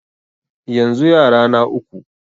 Yanzu yara na uku.